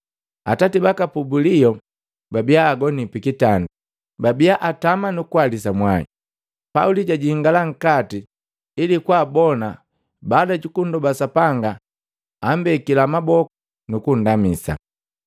“Atati baka Pubulio babia agoni pikitanda, babia atamu nu kuhalisa mwai. Pauli jajingala nkati ili kwaabona baada ju kundoba Sapanga ambekila maboku nukundamisa.